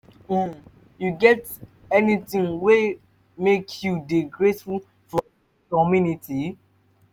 um you get anything wey make you dey grateful for your community? um